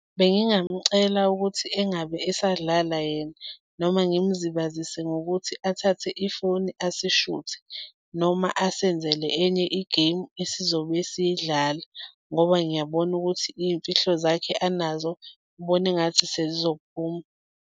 Bengingamucela ukuthi engabe esadlala yena, noma ngimzibazise ngokuthi athathe ifoni asishuthe noma asenzele enye i-game esizobuye siyidlale, ngoba ngiyabona ukuthi iy'mfihlo zakhe anazo, ngibona engathi sezizophuma.